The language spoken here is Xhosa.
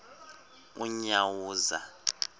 unyawuza